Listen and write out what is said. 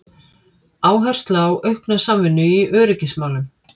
Áhersla á aukna samvinnu í öryggismálum